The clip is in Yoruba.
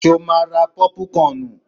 Ṣo ma ra pọ́púkọnù?